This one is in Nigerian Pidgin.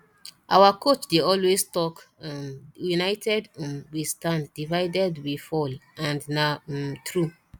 our coach dey always talk um united um we standdivided we fall and na um true